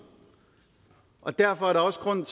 og derfor er der også grund